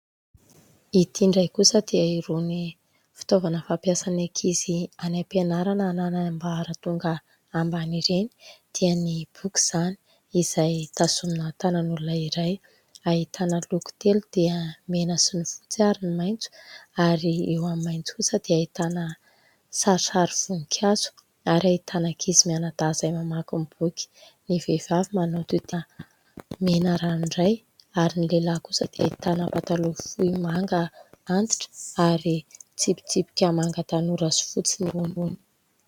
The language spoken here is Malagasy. Ity ndray kosa dia irony fitaovana fampiasan'ny ankizy any ampianarana hananany ambaratonga amban'ireny dia ny boky izany. Izay tazomina tanan'olona iray. Ahitana loko telo dia mena sy ny fotsy ary ny maintso. Ary eo amin'ny maintso kosa dia hahitana sarisary voninkazo ary ahitana ankizy mianadahy izay mamaky boky. Ny vehivavy manao tohy tena mena ranoray ary ny lehilahy kosa dia ahitana patalo fohy manga antitra ary tsipitsipika hmanga tanora sy fotsy ny ambiny.